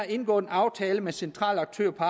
indgået en aftale med centrale aktører på